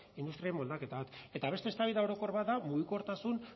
industriaren moldaketa bat eta beste eztabaida orokor bat da mugikortasun